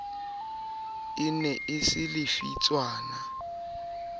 e ne e se lefitshwana